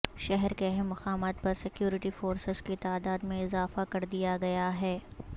شہر کے اہم مقامات پر سکیورٹی فورسز کی تعداد میں اضافہ کردیا گیا ہے